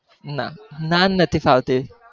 ના નાન નથી ભાવતી,